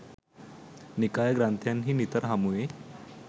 නිකාය ග්‍රන්ථයන්හි නිතර හමුවේ.